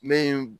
Ne